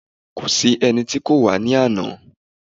Kò sí ẹni tí kò wá ní àná.